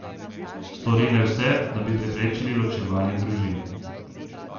Stori naj vse, da bi preprečili ločevanje družin.